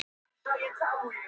Að gefa upp öndina